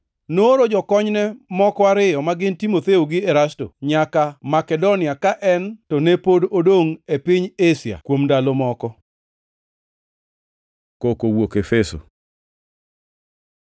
Nooro jokonyne moko ariyo, ma gin Timotheo gi Erasto, nyaka Makedonia, ka en to ne pod odongʼ e piny Asia kuom ndalo moko. Koko owuok Efeso